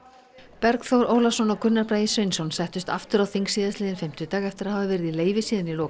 Bergþór Ólason og Gunnar Bragi Sveinsson settust aftur á þing síðastliðinn fimmtudag eftir að hafa verið í leyfi síðan í lok